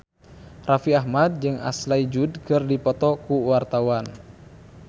Raffi Ahmad jeung Ashley Judd keur dipoto ku wartawan